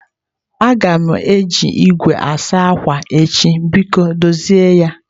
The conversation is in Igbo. Aga m eji igwe asa akwa echi biko dozie ya.